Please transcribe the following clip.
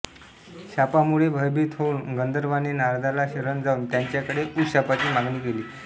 शापामुळे भयभीत होऊन गंधर्वाने नारदाला शरण जाऊन त्याच्याकडे उशापाची मागणी केली